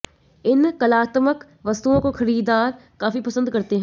इन कलात्मक वस्तुओं को खरीददार काफी पसंद करते हैं